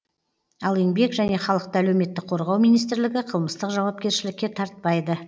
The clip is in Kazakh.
ал еңбек және халықты әлеуметтік қорғау министрлігі қылмыстық жауапкершілікке тартпайды